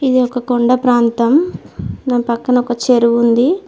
ఇది ఒక కొండ ప్రాంతం దాని పక్కన ఒక చెరువు ఉంది.